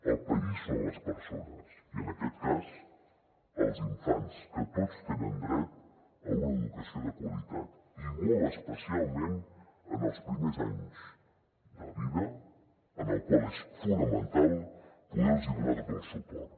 el país són les persones i en aquest cas els infants que tots tenen dret a una educació de qualitat i molt especialment en els primers anys de vida en els quals és fonamental poder los donar tot el suport